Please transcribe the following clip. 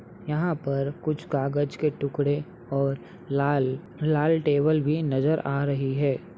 यहाँ पर कुछ कागज के टुकड़े और लाल टेबल भी नजर आ रही है ।